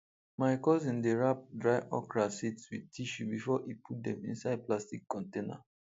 my cousin dey wrap dry okra seeds with tissue before e put dem inside plastic container